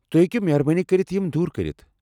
تُہۍ ہیكو مہربٲنی كرِتھ یِم دوٗر كرِتھ ؟